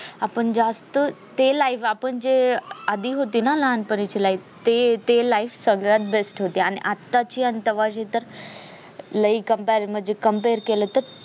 आपण जास्त ते life आपण ते जे होती ना लहानपणीची life ते ते life सगळ्यात best होती आणि आताची आणि तेव्हाची तर लय compare म्हणजे compare केलं तर